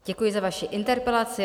Děkuji za vaši interpelaci.